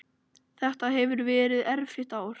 Þetta hefur verið erfitt ár.